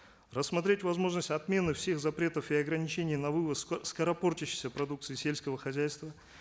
рассмотреть возможность отмены всех запретов и ограничений на вывоз скоропортящейся продукции сельского хозяйства